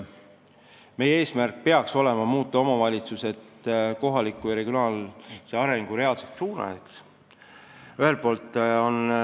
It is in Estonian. Meie eesmärk peaks olema muuta omavalitsused kohaliku ja regionaalse arengu reaalseteks suunajateks.